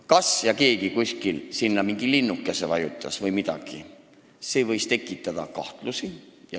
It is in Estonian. Kas keegi kuskil vajutas mingi linnukese või midagi, see võis tekitada kahtlusi.